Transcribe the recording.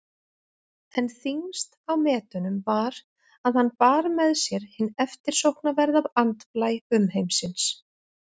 En þyngst á metunum var að hann bar með sér hinn eftirsóknarverða andblæ umheimsins.